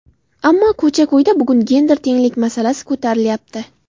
Ammo ko‘cha-ko‘yda bugun gender tenglik masalasi ko‘tarilyapti.